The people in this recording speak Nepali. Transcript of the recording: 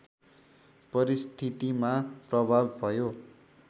परिस्थितिमा प्रभाव भयो